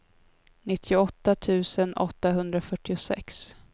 nittioåtta tusen åttahundrafyrtiosex